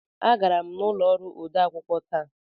Agara m n'ụlọ ọrụ odeakwụkwọ taa.